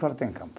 têm campo.